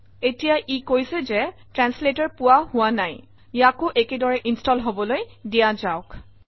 ঠিক আছে এতিয়া ই কৈছে যে ট্ৰান্সলেটৰ পোৱা হোৱা নাই ইয়াকো একে দৰে ইনষ্টল হবলৈ দিয়া যাওক